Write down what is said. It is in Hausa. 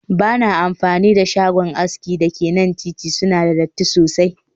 Ba na amfani da shagon aski da ke kan titi, suna da datti sosai